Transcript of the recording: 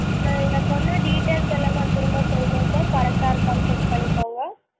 sir நீங்க சொன்ன details லா திரும்ப சொல்றேன் sir correct டா இருக்கான்னு check பண்ணிக்கோங்க?